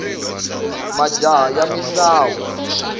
majaha ya misawu